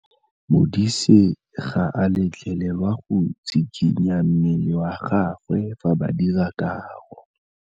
Modise ga a letlelelwa go tshikinya mmele wa gagwe fa ba dira karô.